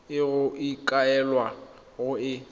e go ikaelelwang go e